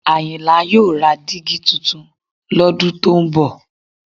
Àyìnlá yóò ra dígí tuntun lọ́dún tó ń bọ̀